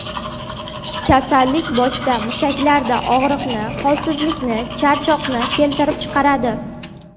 Kasallik boshda, mushaklarda og‘riqni, holsizlikni, charchoqni keltirib chiqaradi.